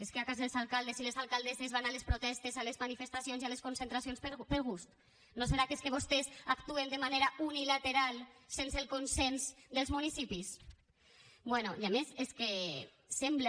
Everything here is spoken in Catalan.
és que potser els alcaldes i les alcaldesses van a les protestes a les manifestacions i a les concentracions per gust no serà que és que vostès actuen de manera unilateral sense el consens dels municipis bé i a més és que sembla